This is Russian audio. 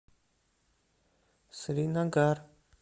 сринагар